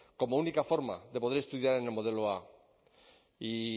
como única forma de poder estudiar en el modelo a y